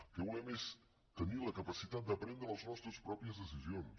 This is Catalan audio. el que volem és tenir la capacitat de prendre les nostres pròpies decisions